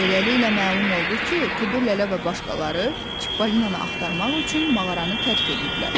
Beləliklə məlum oldu ki, Kudu Lələ və başqaları Çippolinanı axtarmaq üçün mağaranı tərk eləyiblər.